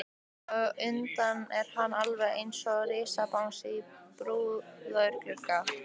Að utan er hann alveg einsog risabangsi í búðarglugga.